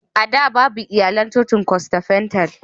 A da, babu iyalan cocin Fentekostal.